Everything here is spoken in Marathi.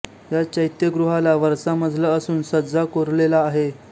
या चैत्यगृहाला वरचा मजला असून सज्जा कोरलेला आहे